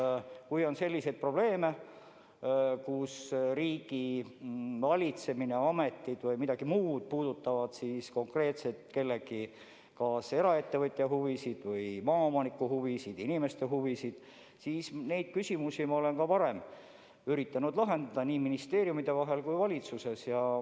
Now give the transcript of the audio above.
Nii et kui on selliseid probleeme, mis puudutavad riigivalitsemist, ameteid või konkreetselt mõne eraettevõtja huvisid või maaomaniku huvisid, inimeste huvisid, siis neid küsimusi ma olen ka varem üritanud lahendada nii ministeeriumides kui valitsuses.